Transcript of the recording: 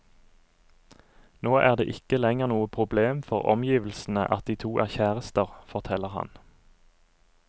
Nå er det ikke lenger noe problem for omgivelsene at de to er kjærester, forteller han.